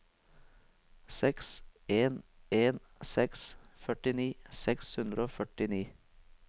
seks en en seks førtini seks hundre og førtini